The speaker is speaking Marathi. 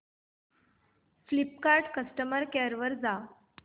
फ्लिपकार्ट कस्टमर केअर वर जा